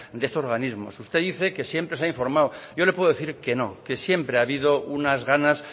de estos organismos usted dice que siempre se ha informado yo le puedo decir que no que siempre ha habido unas ganas